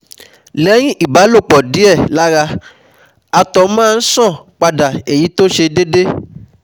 Lẹ́yìn ìbálòpọ̀ díẹ̀ lára àtọ̀ máa ń ṣàn padà èyí tó ṣe déédé